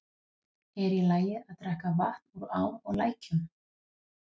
Er í lagi að drekka vatn úr ám og lækjum?